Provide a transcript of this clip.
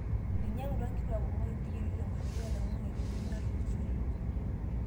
Einyang'utua nkituak kumok intikiti tenkoitoi oloing'ang'e tewiki natulusoyie